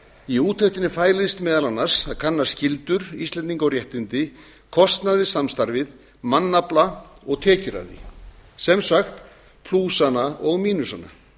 í úttektinni fælist meðal annars að kanna skyldur íslendinga og réttindi kostnað við samstarfið mannafla og tekjur af því sem sagt plúsana og mínusana